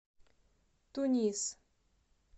тунис